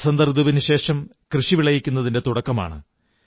വസന്തഋതുവിനു ശേഷം കൃഷി വിളയുന്നതിന്റെ തുടക്കമാണ്